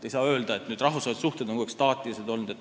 Ei saa öelda, et rahvusvahelised suhted oleksid olnud staatilised.